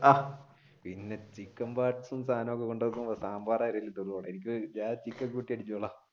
ആഹ് പിന്നെ ചിക്കൻ വറുത്തതും സാധനങ്ങളും ഒക്കെ കൊണ്ട് വെക്കുമ്പോൾ സാംബാർ